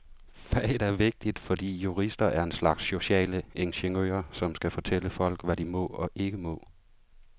Faget er vigtigt, fordi jurister er en slags sociale ingeniører, som skal fortælle folk, hvad de må og ikke må.